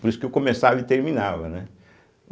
Por isso que eu começava e terminava, né?